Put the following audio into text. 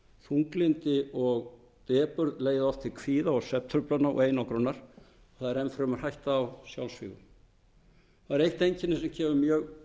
þunglyndi og depurð leiða oft til kvíða svefntruflana og einangrunar það er enn fremur hætta á sjálfsvígum það er eitt einkenni sem kemur mjög